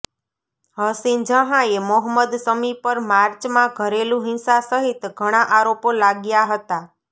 હસીન જહાંએ મોહમ્મદ શમી પર માર્ચમાં ઘરેલુ હિંસા સહિત ઘણા આરોપો લાગ્યા હતા